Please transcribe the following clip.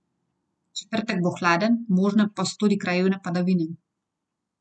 Četrtek bo hladen, možne pa so tudi krajevne padavine.